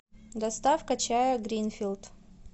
доставка чая гринфилд